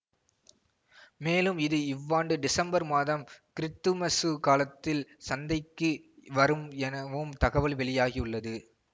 மேலும் இது இவ்வாண்டு டிசம்பர் மாதம் கிறித்துமசு காலத்தில் சந்தைக்கு வரும் எனவும் தகவல் வெளியாகியுள்ளது